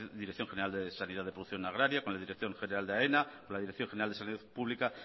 dirección general de sanidad de producción agraria con la dirección general de aena con la dirección general de salud pública